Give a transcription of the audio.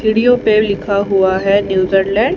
सीढ़ियों पे लिखा हुआ है न्यूजरलैंड ।